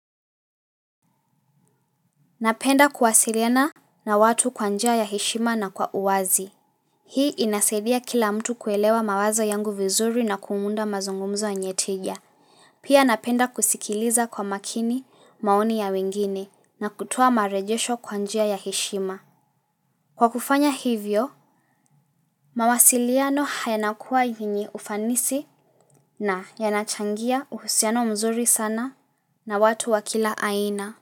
Napenda kuwasiliana na watu kwa njia ya heshima na kwa uwazi. Hii inasidia kila mtu kuelewa mawazo yangu vizuri na kumunda mazungumzo yenye tija. Pia napenda kusikiliza kwa makini maoni ya wengine na kutoa marejesho kwa njia ya heshima. Kwa kufanya hivyo, mawasiliano hayanakua yinyi ufanisi na yanachangia uhusiano mzuri sana na watu wakila aina.